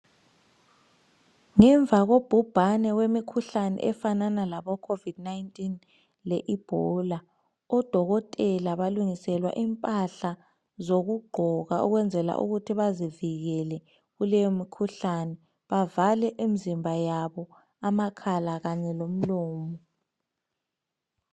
Ngemva kobhubhane wemikhuhlane efana labo covud 19 le ebhola odokotela balungiselwa impahla zokugqoka ukuyenzela ukuthi bazivikele bavale imizimba yabo ama khala kanye lomlomo.